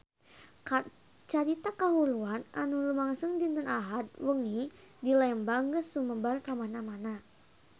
Carita kahuruan anu lumangsung dinten Ahad wengi di Lembang geus sumebar kamana-mana